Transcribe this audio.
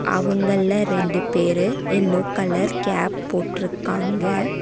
அவங்கள்ல ரெண்டு பேரு yellow colour cap போட்ருக்காங்க.